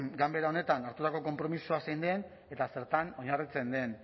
ganbera honetan hartutako konpromisoa zein den eta zertan oinarritzen den